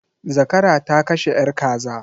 Zakara ta kashe yar kaza.